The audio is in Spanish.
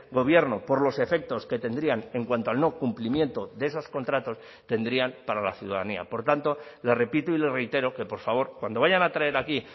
gobierno por los efectos que tendrían en cuanto al no cumplimiento de esos contratos tendrían para la ciudadanía por tanto le repito y le reitero que por favor cuando vayan a traer aquí